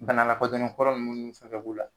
Bana lakodɔnnen kɔrɔ munnu fɛnɛ b'u la